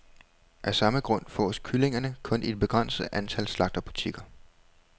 Af samme grund fås kyllingerne kun i et begrænset antal slagterbutikker.